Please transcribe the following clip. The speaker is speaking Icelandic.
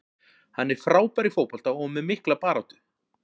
Hann er frábær í fótbolta og með mikla baráttu.